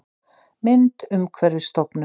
Mynd: Umhverfisstofnun